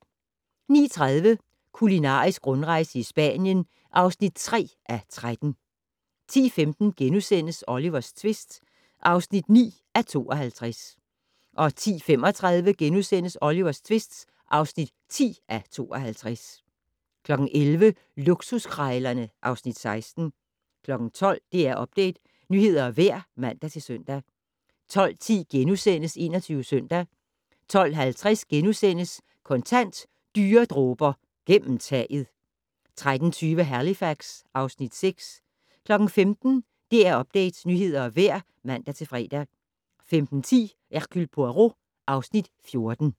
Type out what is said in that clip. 09:30: Kulinarisk rundrejse i Spanien (3:13) 10:15: Olivers tvist (9:52)* 10:35: Olivers tvist (10:52)* 11:00: Luksuskrejlerne (Afs. 16) 12:00: DR Update - nyheder og vejr (man-søn) 12:10: 21 Søndag * 12:50: Kontant: Dyre dråber - gennem taget! * 13:20: Halifax (Afs. 6) 15:00: DR Update - nyheder og vejr (man-fre) 15:10: Hercule Poirot (Afs. 14)